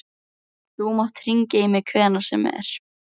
Þú mátt hringja í mig hvenær sem er.